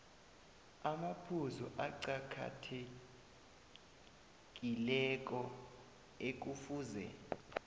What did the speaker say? amaphuzu aqakathekileko ekufuze